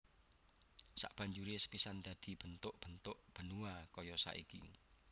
Sabanjuré kepisah dadi bentuk bentuk benua kaya saiki